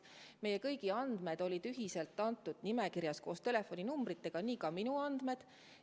Meie kõigi andmed olid ühiselt antud nimekirjas koos telefoninumbritega, nii ka minu andmed.